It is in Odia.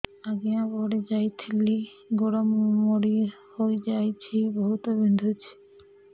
ଆଜ୍ଞା ପଡିଯାଇଥିଲି ଗୋଡ଼ ମୋଡ଼ି ହାଇଯାଇଛି ବହୁତ ବିନ୍ଧୁଛି